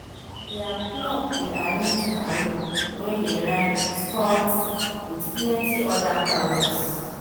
their club dey arrange paro wey dey rhyme sports with plenti other paros